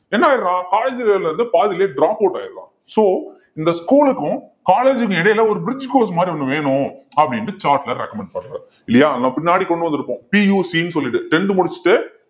என்ன ஆயிடுறான் college ல இருந்து பாதியிலேயே dropout ஆயிடரான் so இந்த school க்கும் college க்கும் இடையில ஒரு bridge course மாதிரி ஒண்ணு வேணும் அப்படின்ட்டு சாட்லர் recommend பண்றாரு இல்லையா நம்ம பின்னாடி கொண்டு வந்திருக்கோம் PUC ன்னு சொல்லிட்டு tenth முடிச்சுட்டு